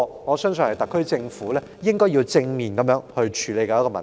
我相信這是特區政府應要正面處理的問題。